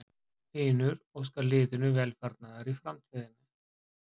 Hlynur óskar liðinu velfarnaðar í framtíðinni.